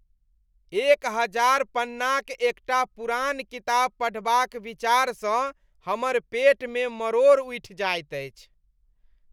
एक हजार पन्नाक एकटा पुरान किताब पढ़बाक विचारसँ हमर पेटमे मरोड़ उठि जायत अछि।